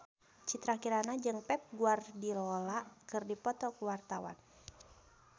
Citra Kirana jeung Pep Guardiola keur dipoto ku wartawan